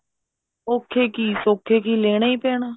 ਔਖੇ ਕੀ ਸੋਖੇ ਕੀ ਲੈਣਾ ਹੀ ਪੈਣਾ